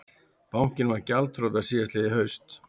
Bankinn varð gjaldþrota síðastliðið haust